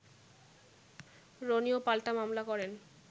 রনিও পাল্টা মামলা করেন